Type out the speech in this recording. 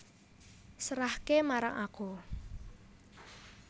Serahke marang aku